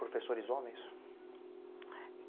Professores homens?